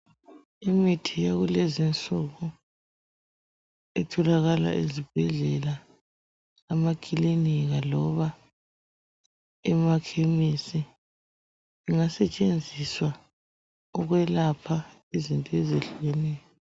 Imithi yakulezi nsuku itholakala ezibhedlela emaklinika loba emakhemesti ingasetshenziswa ukwelapha izinto ezehlukeneyo .